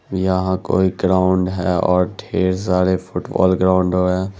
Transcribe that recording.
यहाँ कोई ग्राउंड है और ढेर सारे फुटबॉल ग्राउंडर है।